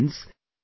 Friends,